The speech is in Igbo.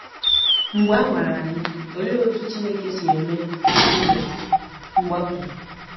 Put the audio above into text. Mgbe a nwara anyị, olee otú Chineke si eme “ụzọ mgbapụ”?